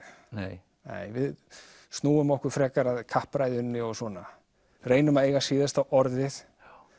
nei við snúum okkur frekar að kappræðunni og svona reynum að eiga síðasta orðið